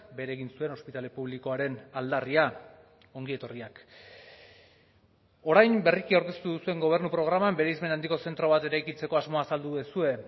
bere egin zuen ospitale publikoaren aldarria ongi etorriak orain berriki aurkeztu duzuen gobernu programan bereizmen handiko zentro bat eraikitzeko asmoa azaldu duzue